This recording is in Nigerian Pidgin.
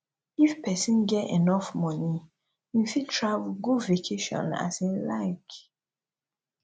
if persin get enough money im fit travel go vacation as im like